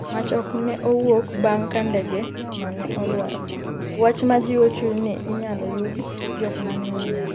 mach ok ne owuok bang' ka ndege no ne olwar, wach ma jiwo chuny ni inyalo yud jok mane ohinyore